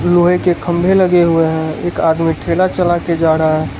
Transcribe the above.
लोहे के खंबे लगे हुए है एक आदमी ठेला चला के जा रहा --